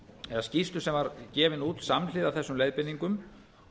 eða skýrslu sem var gefin út samhliða þessum leiðbeiningum